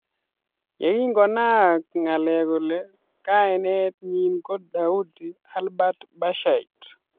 Yekingonaak ngalek kole kainet nyi ko daudi albert bashite.